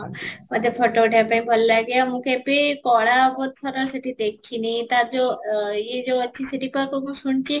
ମୋତେ photo ଉଠେଇବାକୁ ଭଲ ଲାଗେ ଆଉ ମୁଁ କେବେ କଳା ସେଠି ଦେଖିନି ତାର ଯଉ ଇଏ ଯଉ ଅଛି ସେଠି ମୁଁ କ'ଣ ଶୁଣିଛି?